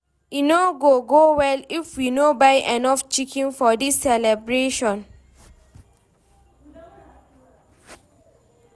E no go go well if we no buy enough chicken for dis celebration.